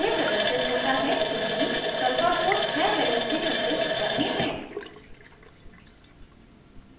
यह प्रदर्शित होता है क्योंकि sulphur को 6 valency संतुष्ट करनी है